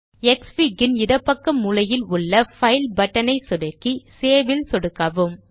க்ஸ்ஃபிக் ன் இடப்பக்க மூலையில் உள்ள பைல் பட்டனை சொடுக்கி சேவ் இல் சொடுக்கவும்